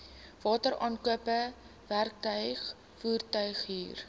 wateraankope werktuig voertuighuur